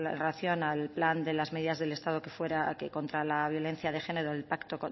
relación al plan de las medidas del estado contra la violencia de género el pacto